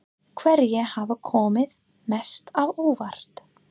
Hverjir hafa komið mest á óvart?